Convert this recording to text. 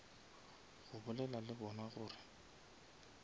go bolela le bona gore